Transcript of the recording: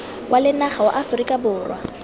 wa lenaga wa aforika borwa